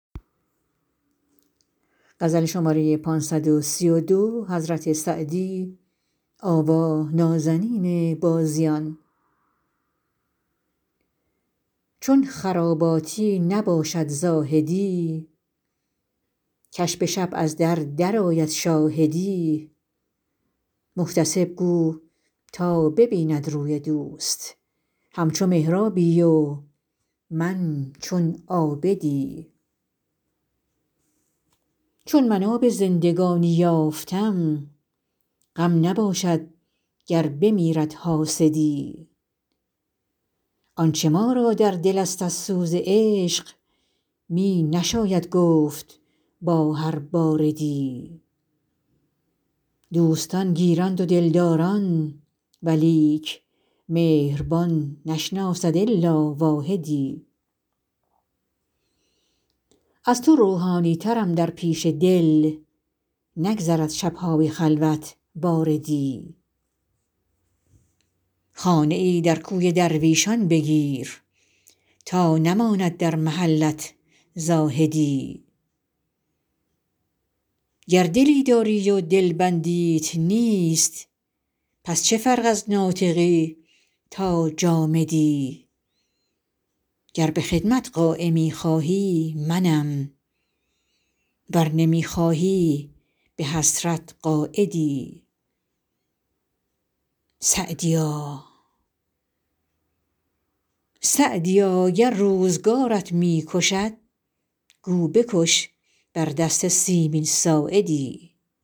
چون خراباتی نباشد زاهدی که ش به شب از در درآید شاهدی محتسب گو تا ببیند روی دوست همچو محرابی و من چون عابدی چون من آب زندگانی یافتم غم نباشد گر بمیرد حاسدی آنچه ما را در دل است از سوز عشق می نشاید گفت با هر باردی دوستان گیرند و دلداران ولیک مهربان نشناسد الا واحدی از تو روحانی ترم در پیش دل نگذرد شب های خلوت واردی خانه ای در کوی درویشان بگیر تا نماند در محلت زاهدی گر دلی داری و دلبندیت نیست پس چه فرق از ناطقی تا جامدی گر به خدمت قایمی خواهی منم ور نمی خواهی به حسرت قاعدی سعدیا گر روزگارت می کشد گو بکش بر دست سیمین ساعدی